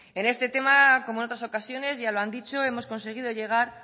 en este tema como en otras ocasiones ya lo han dicho hemos conseguido llegar